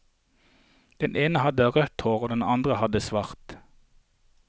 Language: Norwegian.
Den ene hadde rødt hår og den andre hadde svart.